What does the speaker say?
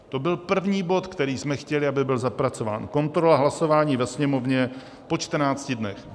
To byl první bod, který jsme chtěli, aby byl zapracován, kontrola, hlasování ve Sněmovně po 14 dnech.